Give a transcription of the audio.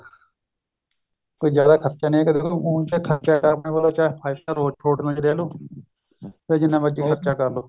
ਕੋਈ ਜਿਆਦਾ ਖਰਚਾ ਨਹੀਂ ਹੈ ਉ ਚਾਹੇ ਖਰਚਾ ਕਰਨਾ ਤਾਂ five star ਹੋਟਲਾਂ ਚ ਰਹੀ ਲਓ ਫੇਰ ਜਿੰਨਾ ਮਰਜ਼ੀ ਖਰਚਾ ਕਰ ਲਓ